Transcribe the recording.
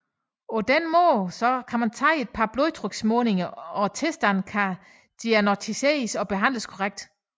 På den måde så de kan tage et par blodtryksmålinger og tilstanden kan diagnosticeres og behandles korrekt